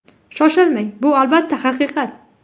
Shoshilmang, bu albatta haqiqat.